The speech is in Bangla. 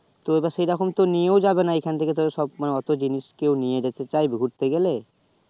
তো সে রকম তো নিয়ে যাবে না এখান থেকে তা অতো জিনিস কেও নিয়ে যেতে চাইবে ঘুরতে গেলে